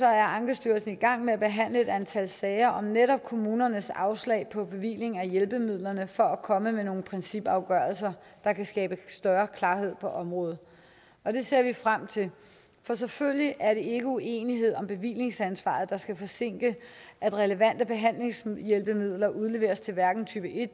er ankestyrelsen i gang med at behandle et antal sager om netop kommunernes afslag på bevilling af hjælpemidlerne for at komme med nogle principafgørelser der kan skabe større klarhed på området og det ser vi frem til for selvfølgelig er det ikke uenighed om bevillingsansvaret der skal forsinke at relevante behandlingshjælpemidler udleveres til hverken type